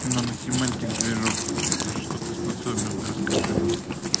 наносемантика движок на что ты способен расскажи мне